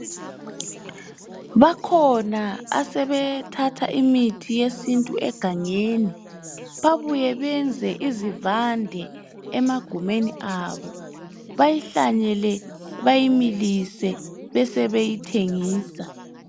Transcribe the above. Bakhona asebethatha imithi yesintu egangeni babuye benze izivande emagumeni abo bayihlanyele bayimilise besebeyithengisa.